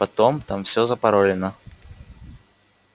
потом там всё запаролено